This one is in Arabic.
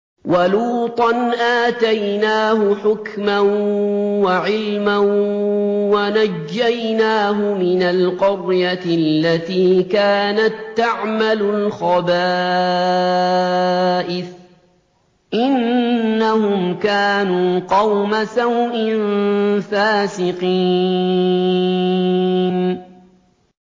وَلُوطًا آتَيْنَاهُ حُكْمًا وَعِلْمًا وَنَجَّيْنَاهُ مِنَ الْقَرْيَةِ الَّتِي كَانَت تَّعْمَلُ الْخَبَائِثَ ۗ إِنَّهُمْ كَانُوا قَوْمَ سَوْءٍ فَاسِقِينَ